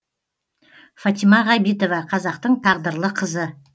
фатима ғабитова қазақтың тағдырлы қызы